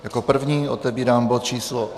Jako první otevírám bod číslo